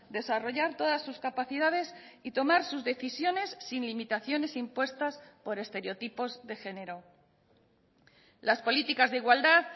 desarrollar todas sus capacidades y tomar sus decisiones sin limitaciones impuestas por estereotipos de género las políticas de igualdad